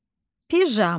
Pijama.